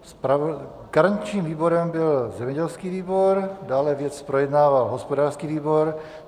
Garančním výborem byl zemědělský výbor, dále věc projednával hospodářský výbor.